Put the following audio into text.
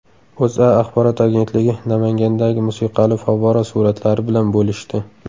O‘zA axborot agentligi Namangandagi musiqali favvora suratlari bilan bo‘lishdi .